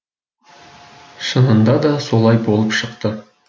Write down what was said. шынында да солай болып шықты